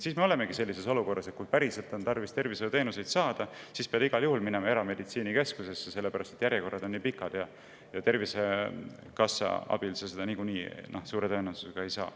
Siis me jõuamegi sellisesse olukorda, et kui on tarvis tervishoiuteenuseid saada, siis igal juhul pead minema erameditsiinikeskusesse, sellepärast et järjekorrad on pikad ja Tervisekassa abil sa niikuinii seda suure tõenäosusega ei saa.